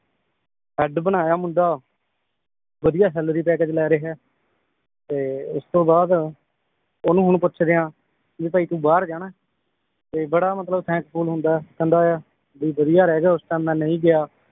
head ਬਣਾਇਆ ਮੁੰਡਾ ਵਧੀਆ ਸੈਲਰੀ ਪੈਕੇਜ ਲੈ ਰਿਹਾ ਏ ਤੇ ਉਸ ਤੋਂ ਬਾਅਦ ਓਹਨੂੰ ਹੁਣ ਪੁੱਛਦੇ ਆ ਵੀ ਭਾਈ ਤੂੰ ਬਾਹਰ ਜਾਣਾ ਏ ਤੇ ਬੜਾ ਮਤਲਬ thankful ਹੁੰਦਾ ਏ ਕਹਿੰਦਾ ਯਾ ਬੀ ਬਧਿਆ ਰਹਿ ਗਿਆ ਉਸ ਟਾਈਮ ਮੈ ਨਈ ਗਿਆ